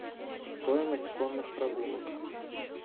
стоимость конных прогулок